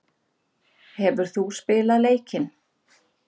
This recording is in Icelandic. Hefur þú spilað leikinn?